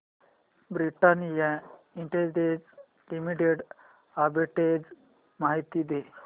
Britannia industries limited arbitrage माहिती दे